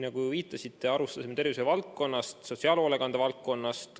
Nagu viitasite, alustasime tervishoiuvaldkonnast ja sotsiaalhoolekande valdkonnast.